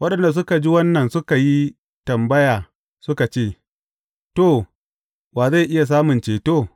Waɗanda suka ji wannan suka yi tambaya suka ce, To, wa zai iya samun ceto?